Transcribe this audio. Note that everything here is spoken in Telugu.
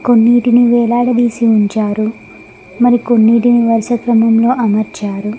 కొన్నిటికి వేలాడదీసి ఉంచారు మరికొన్నింటిని వరుస క్రమంలో అమర్చారు.